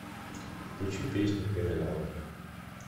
включи песню криминал